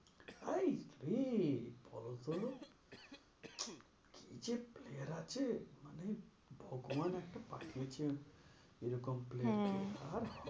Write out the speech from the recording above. High রে বলতো? কি যে player আছে মানে ভগবান একটা পাঠিয়েছেন এরকম player কে আর